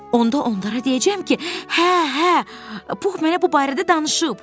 Onda onlara deyəcəm ki, hə, hə, Pux mənə bu barədə danışıb.